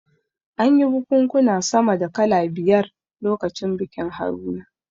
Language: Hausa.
An yi bikunkuna sama da kala biyar lokacin bikin Haruna